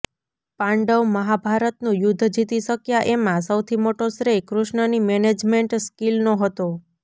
પાંડવ મહાભારતનું યુદ્ધ જીતી શક્યા એમાં સૌથી મોટો શ્રેય કૃષ્ણની મેનેજમેન્ટ સ્કિલનો હતો